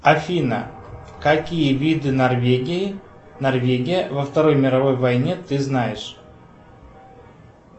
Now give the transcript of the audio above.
афина какие виды норвегии норвегия во второй мировой войне ты знаешь